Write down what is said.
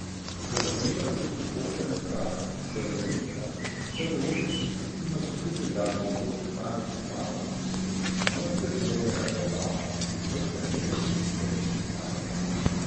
Zazvenela bo tudi bosenska sevdalinka, saj bo letošnji Kreslinov posebni glasbeni gost Damir Imamović, mojster sodobnega sevdaha, izvrsten pevec in kitarist iz Sarajeva.